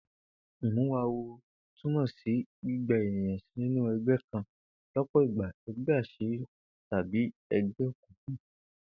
Ìmúwawo túmò̩ sí gbígba e̩nìkan sínú e̩gbé̩ kan ló̩pò̩ ìgbà e̩gbé̩ às̩írí tàbí e̩gbé̩ òkùnkùn